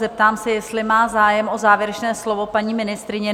Zeptám se, jestli má zájem o závěrečné slovo paní ministryně?